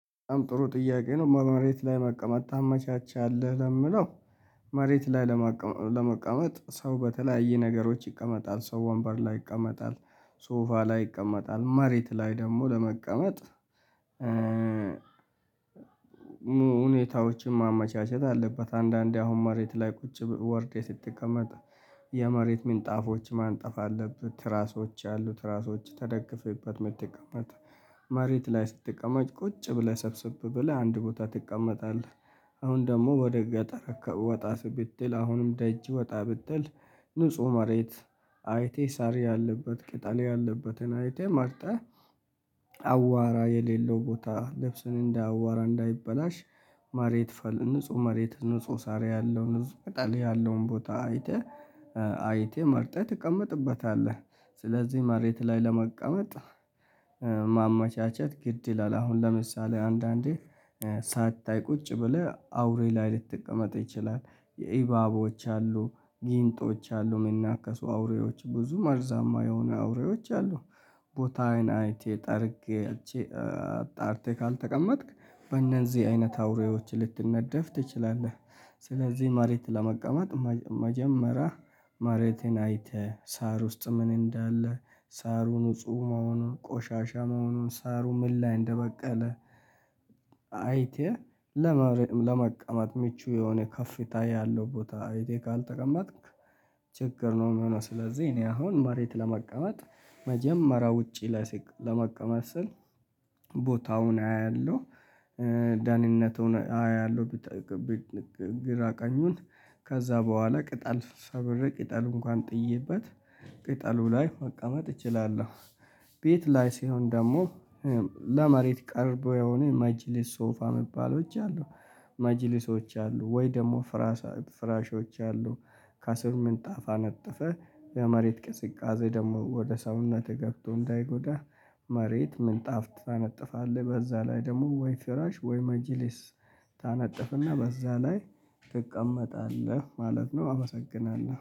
በጣም ጥሩ ጥያቄ ነው? መሬት ላይ መቀመጥ ታመቻቻለህ ለምለው መሬት ላይ ለመቀመጥ ሰው በተለያዩ ነገሮች ይቀመጣል ሰው ወንበር ላይ ይቀመጣል ሶፋ ላይ ይቀመጣል መሬት ላይ ደግሞ ለመቀመጥ። ሁኔታዎችን ማመቻቸት አለበት አንዳንዴ አሁን መሬት ላይ ቁጭ ወርዴ ስትቀመጥ የመሬት ምንጣፎች ማንጠፍ አለበት ትራሶች አሉት ትራሶች ተደግፈህበት የምትቀመጥ መሬት ላይ ስትቀመጥ ቁጭ ብለህ ሰብስብ ብለህ አንድ ቦታ ትቀመጣለህ። አሁን ደግሞ ወደ ገጠር ወጣ ስብትል አሁንም ደጅ ወጣ ብትል ንጹህ መሬት አይቴ ሳሪ ያለበት ቅጠል ያለበትን አይቴ መርጠህ አቧራ የሌለው ቦታ ለብስን እንዳቧራ እንዳይበላሽ። መሬት ንጹህ መሬት ንጹህ ሳራ ያለው ንጹህ ቅጠል ያለውን ቦታ አይተህ አይተህ መርጠህ ትቀመጥበታለህ። ስለዚህ መሬት ላይ ለመቀመጥ ማመቻቸት ግድ ይላል። አሁን ለምሳሌ አንዳንዴ ሳታይ ቁጭ ብለህ አውሬ ላይ ልትቀመጥ ይችላል የኢባቦች አሉ ጊንጦች አሉ እሚናከሱ አውሬዎች ብዙ ማርዛማ የሆኑ አውሬዎች አሉ። ቦታ አይን አይቴ ጠርጌ አጣርቴ ካልተቀመጥክ በእነዚህ አይነት አውሬዎች ልትነደፍ ትችላለህ። ስለዚህ መሬት ለመቀመጥ መጀመሪያ መሬቴን አይተህ ሳር ውስጥ ምን እንዳለ ሳሩ ንጹህ መሆኑን ቆሻሻ መሆኑን ሳሩ ምን ላይ እንደበቀለ። አይቴ ለመቀማት ምቹ የሆነ ከፍታ ያለው ቦታ አይቴ ካልተቀመትክ ችግር ነው። እሚሆነው ስለዚህ እኔ አሁን መሬት ለመቀመጥ መጀመሪያ ውጪ ላይ ለመቀመጥ ስል ቦታውን አያለሁ። ዳህንነቱን አያለሁ። ግራ ቀኙን ከዛ በኋላ ቅጠል ሰብሬ ቅጠሉ እንኳን ጥዬበት ቅጠሉ ላይ መቀመጥ እችላለሁ። ቤት ላይ ሲሆን ደግሞ ለመሬት ቅርብ የሆነ መጂሊስ ሶፋ እሚባሎች አሉ። መጅሊሶች አሉ ወይ ደግሞ ፍራሾች አሉ። ከስር ምንጣፍ አነጠፈ የመሬት ቅዝቃዜ ደግሞ ወደ ሰውነትህ ገብቶ እንዳይጎዳህ። መሬት ምንጣፍ ታነጥፋለህ በዛ ላይ ደግሞ ወይ ፍራሽ ወይ መጂሊስ ታነጥፍና በዛ ላይ ትቀመጣለህ ማለት ነው። አመሰግናለሁ